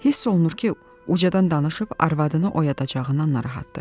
Hiss olunur ki, ucadan danışıb arvadını oyadacağından narahatdır.